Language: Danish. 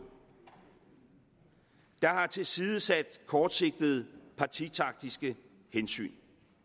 og som har tilsidesat kortsigtede partitaktiske hensyn